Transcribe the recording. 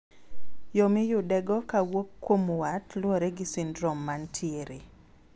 yoo miyudego kawuok kuom wat luore gi sindrom mantiere